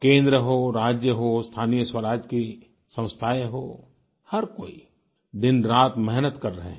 केंद्र हो राज्य हो स्थानीय स्वराज की संस्थाएं हो हर कोई दिनरात मेहनत कर रहें हैं